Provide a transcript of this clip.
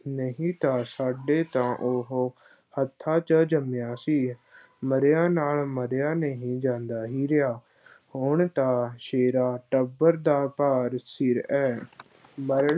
ਨਹੀਂ ਤਾਂ ਸਾਡੇ ਤਾਂ ਉਹ ਹੱਥਾਂ ਚ ਜੰਮਿਆ ਸੀ, ਮਰਿਆ ਨਾਲ ਮਰਿਆਂ ਨਹੀਂ ਜਾਂਦਾ ਹੀਰਿਆ ਹੁਣ ਤਾਂ ਸ਼ੇਰਾ ਟੱਬਰ ਦਾ ਭਾਰ ਸਿਰ ਹੈ ਮਰ